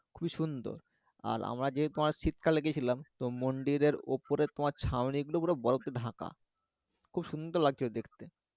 খুবই সুন্দর আর আমরা যে শীতকালে গেছিলাম তো মন্দিরের ওপরের তোমার ছাউনি গুলো পুরো বরফ দিয়ে ঢাকা খুব সুন্দর লাগছে দেখতে